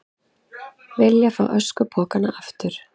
Vilja fá öskupokana aftur